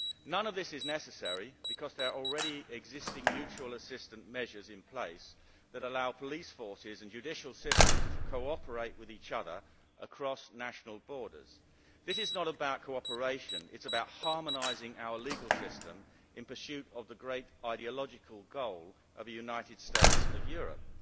None of this is necessary, because there are already existing mutual assistance measures in place that allow police forces and judicial systems to cooperate with each other across national borders. This is not about cooperation. It is about harmonising our legal system in pursuit of the great ideological goal of a United States of Europe.